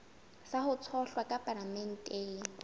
sa ho tshohlwa ka palamenteng